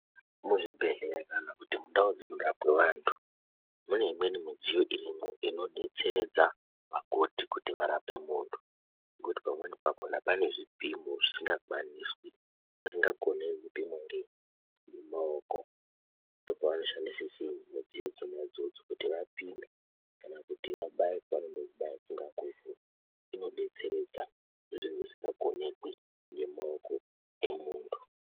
Muzvibhedhlera kana kuti mundau dzinorwapwe vantu, mune imweni midziyo irimwo inodetseredza vakoti kuti varape muntu ngekuti pamweni pakona pane zvipimo zvisingakwaniswi, zvisingakoneki kupimwe ngei ngemaoko. Ndopavanoshandise chiini midziyo idzona idzodzo kuti vapime kana kuti vabaye pavanoda kubaya kungaa kwese, inobetseredza zvinhu zvisingakonekwi ngemaoko emuntu.